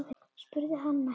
spurði hann æstur.